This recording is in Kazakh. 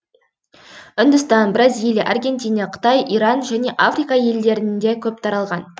үндістан бразилия аргентина қытай иран және африка елдерінде көп таралған